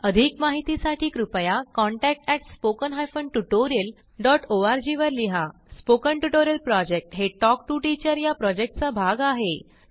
अधिक माहितीसाठी कृपया contact at spoken hyphen tutorial dot O R G वर लिहा स्पोकन ट्युटोरियल प्रॉजेक्ट हे टॉक टू टीचर या प्रॉजेक्टचा भाग आहे